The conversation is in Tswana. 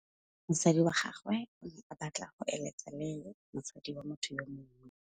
Monna wa gagwe o ne a batla go êlêtsa le mosadi wa motho yo mongwe.